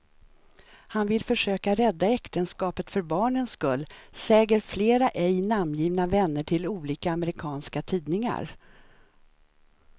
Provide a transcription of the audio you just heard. Han vill försöka rädda äktenskapet för barnens skull, säger flera ej namngivna vänner till olika amerikanska tidningar.